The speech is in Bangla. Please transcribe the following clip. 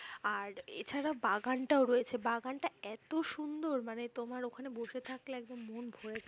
আর এছাড়া বাগানটাও রয়েছে ।বাগানটা এতো সুন্দর! মানে তোমার ওখানে বসে থাকলে একদম মন ভরে যাবে।